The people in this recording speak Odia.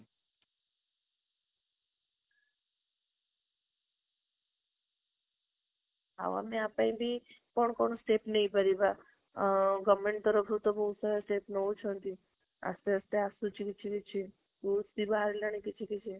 ଆଉ ଆମେ ୟା ପାଇଁ ବି କଣ step ନେଇ ପାରିବା ଆଉ government ରୁ ଏତେ ସାରା steps ନେଉଛନ୍ତି ଆସ୍ତେ ଆସ୍ତେ ଆସୁଛି କିଛି ବି ବାହାରିଲାଣି କିଛି କିଛି